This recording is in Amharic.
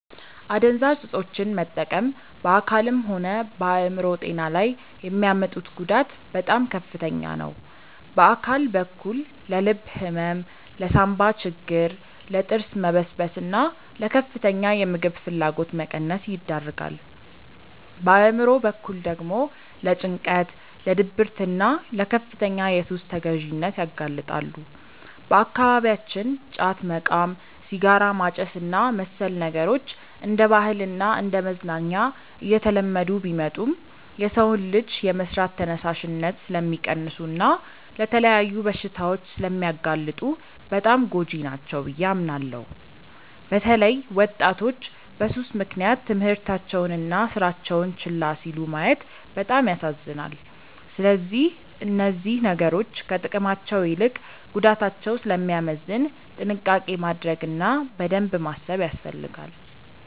አደንዛዥ እፆችን መጠቀም በአካልም ሆነ በአእምሮ ጤና ላይ የሚያመጡት ጉዳት በጣም ከፍተኛ ነው። በአካል በኩል ለልብ ህመም፣ ለሳንባ ችግር፣ ለጥርስ መበስበስና ለከፍተኛ የምግብ ፍላጎት መቀነስ ይዳርጋል። በአእምሮ በኩል ደግሞ ለጭንቀት፣ ለድብርትና ለከፍተኛ የሱስ ተገዢነት ያጋልጣሉ። በአካባቢያችን ጫት መቃም፣ ሲጋራ ማጨስና መሰል ነገሮች እንደ ባህልና እንደ መዝናኛ እየተለመዱ ቢመጡም፣ የሰውን ልጅ የመስራት ተነሳሽነት ስለሚቀንሱና ለተለያዩ በሽታዎች ስለሚያጋልጡ በጣም ጎጂ ናቸው ብዬ አምናለሁ። በተለይ ወጣቶች በሱስ ምክንያት ትምህርታቸውንና ስራቸውን ችላ ሲሉ ማየት በጣም ያሳዝናል። ስለዚህ እነዚህ ነገሮች ከጥቅማቸው ይልቅ ጉዳታቸው ስለሚያመዝን ጥንቃቄ ማድረግ እና በደንብ ማሰብ ያስፈልጋል።